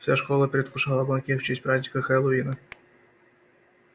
вся школа предвкушала банкет в честь праздника хэллоуина